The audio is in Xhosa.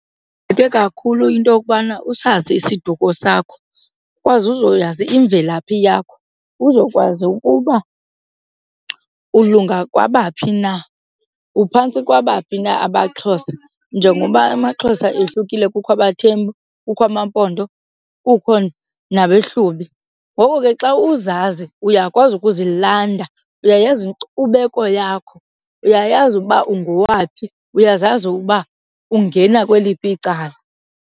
kakhulu into kubana usazi isiduko sakho ukwazi uzoyazi imvelaphi yakho, uzokwazi ukuba ulunga kwabaphathi na, uphantsi kwabaphi na abaXhosa njengoba amaXhosa ohlukile kukho abaThembu kukho amaMpondo kukho nabeHlubi. Ngoko ke xa uzazi uyakwazi ukuzilanda, uyayazi inkcubeko yakho, uyayazi uba ungowaphi, uyazazi uba ungena kweliphi icala.